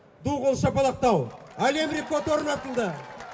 ду қол шапалақтау әлем рекорды орнатылды